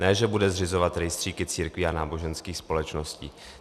Ne že bude zřizovat rejstříky církví a náboženských společností.